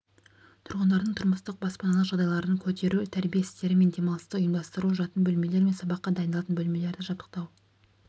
тұрғындардың тұрмыстық-баспаналық жағдайларын көтеру тәрбие істері мен демалысты ұйымдастыру жатын бөлмелер мен сабаққа дайындалатын бөлмелерді жабдықтау